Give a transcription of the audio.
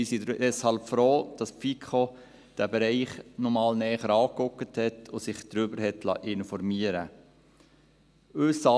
Wir sind deshalb froh, dass die FiKo diesen Bereich noch einmal genauer angeschaut hat und sich darüber informieren liess.